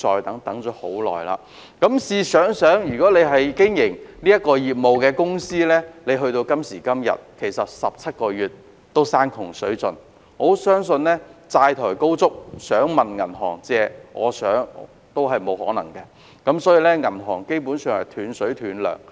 大家試想想，經營有關業務的公司時至今天已等候17個月，已經山窮水盡，有些甚或已債台高築，想問銀行借錢相信亦沒有可能，基本上已斷水斷糧。